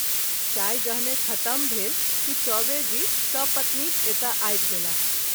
चाय जहने खत्म भेल कि चौबे जी सपत्नीक एतय आबि गेलाह।